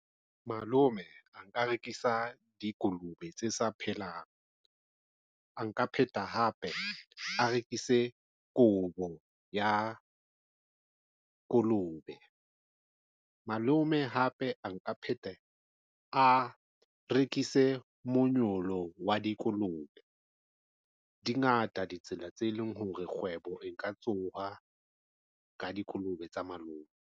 Malome a nka rekisa dikolobe tse sa phelang a nka pheta hape a rekise kobo ya kolobe. Malome hape a nka phetheha a rekise manyolo wa dikolobe dingata ditsela tse leng hore kgwebo e nka tsoha ka dikolobe tsa malome.